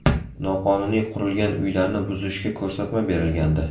Noqonuniy qurilgan uylarni buzishga ko‘rsatma berilgandi .